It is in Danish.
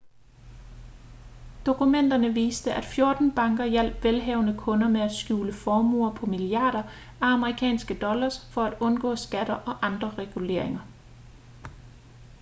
dokumenterne viste at 14 banker hjalp velhavende kunder med at skjule formuer på milliarder af amerikanske dollars for at undgå skatter og andre reguleringer